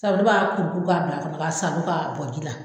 Sabu ne b'a kuru kuru k'a bila a kɔnɔ k'a salo k'a bɔ ji la.